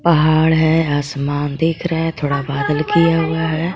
पहाड़ है आसमान देख रहा है थोड़ा बादल किया हुआ है।